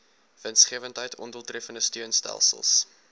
winsgewendheid ondoeltreffende steunstelsels